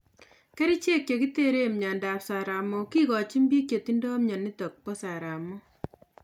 Kerichek che kiteren myondo ab saramok kigochin biik che tindo myonitok bo saramok